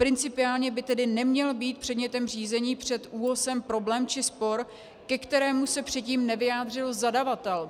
Principiálně by tedy neměl být předmětem řízení před ÚOHSem problém či spor, ke kterému se předtím nevyjádřil zadavatel.